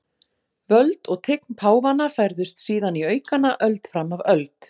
Völd og tign páfanna færðust síðan í aukana öld fram af öld.